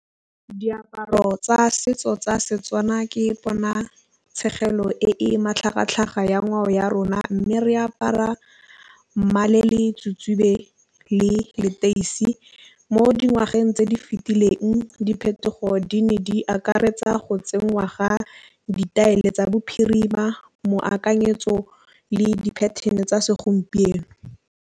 Diaparo tsa setso tsa Setswana ke bona tšhenyegelo e matlhagatlhaga ya ngwao ya rona, mme re apara mmala le leteisi mo dingwageng tse di fitileng diphetogo di ne di akaretsa go tsenngwa ga ditaelo tsa bophirima moakanyetso le diapattern tsa segompieno.